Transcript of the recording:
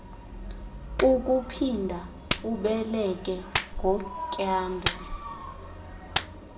kukuphinda ubeleke ngotyando